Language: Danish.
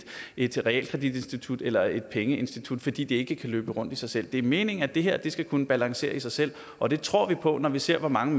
et realkreditinstitut eller et pengeinstitut fordi det ikke kan løbe rundt i sig selv det er meningen at det her skal kunne balancere i sig selv og det tror vi på når vi ser hvor mange